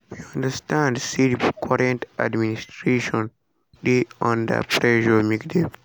“we understand say di current administration dey under pressure make dem